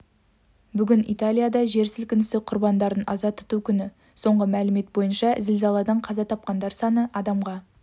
бүгін италияда жер сілкінісі құрбандарын аза тұту күні соңғы мәлімет бойынша зілзаладан қаза тапқандар саны адамға